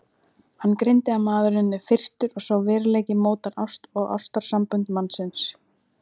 Hann greindi að maðurinn er firrtur og sá veruleiki mótar ást og ástarsambönd mannsins.